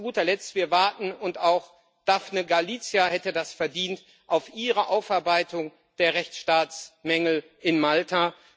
Und zu guter Letzt Wir warten und auch Daphne Galizia hätte das verdient auf Ihre Aufarbeitung der Rechtsstaatsmängel in Malta.